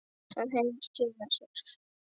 Það hefur skilað sér.